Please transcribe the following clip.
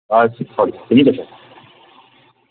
तुम्ही कशे आहेत?